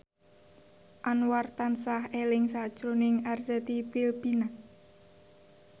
Anwar tansah eling sakjroning Arzetti Bilbina